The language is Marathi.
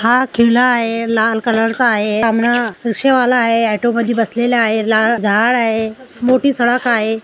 हा किल्ला आहे लाल कलर चा आहे सामन रिक्षा वाला आहे ऑटो मध्ये बसलेला आहे झाड आहे मोठी सडक आहे.